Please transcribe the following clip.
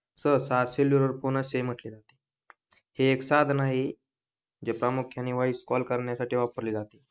cellular phone असेही म्हंटले जाते हे एक साधन आहे जे प्रामुख्याने व्हॉइस कॉल करण्यासाठी वापरले जाते